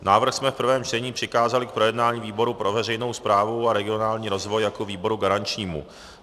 Návrh jsme v prvém čtení přikázali k projednání výboru pro veřejnou správu a regionální rozvoj jako výboru garančnímu.